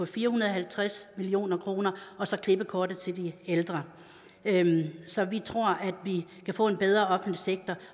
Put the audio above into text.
fire hundrede og halvtreds million kroner og så klippekortet til de ældre ældre så vi tror at vi kan få en bedre offentlig sektor